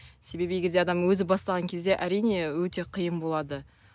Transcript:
себебі егер де адам өзі бастаған кезде әрине өте қиын болады